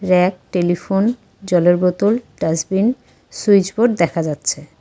Rack telephone জলের বোতল dustbin switch board দেখা যাচ্ছে।